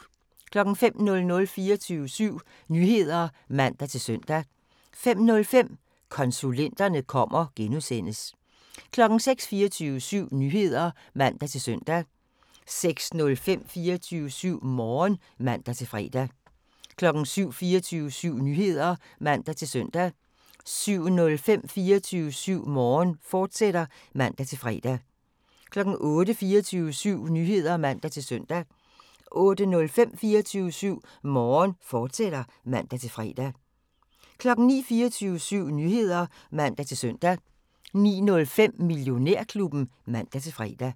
05:00: 24syv Nyheder (man-søn) 05:05: Konsulenterne kommer (G) 06:00: 24syv Nyheder (man-søn) 06:05: 24syv Morgen (man-fre) 07:00: 24syv Nyheder (man-søn) 07:05: 24syv Morgen, fortsat (man-fre) 08:00: 24syv Nyheder (man-søn) 08:05: 24syv Morgen, fortsat (man-fre) 09:00: 24syv Nyheder (man-søn) 09:05: Millionærklubben (man-fre)